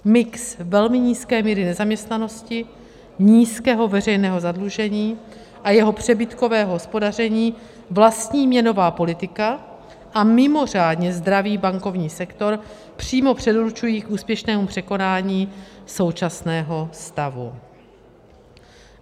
Mix velmi nízké míry nezaměstnanosti, nízkého veřejného zadlužení a jeho přebytkového hospodaření, vlastní měnová politika a mimořádně zdravý bankovní sektor přímo předurčují k úspěšnému překonání současného stavu.